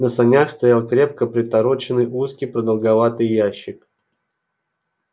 на санях стоял крепко притороченный узкий продолговатый ящик